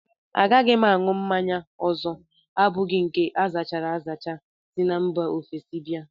Agaghị m aṅụ mmanya ọzọ abụghị nke azachara azacha si mba ofesi bịa